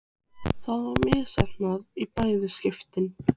Svo tíðar eru skipaferðir ekki, svaraði Kort kuldalega.